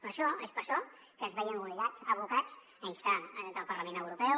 per això és per això que ens veiem obligats abocats a instar el parlament europeu